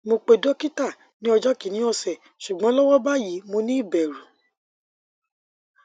mo pe dokita ni ojo kini ose sugbon lowo bayi mo ni iberu